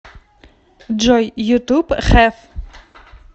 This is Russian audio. джой ютуб хэф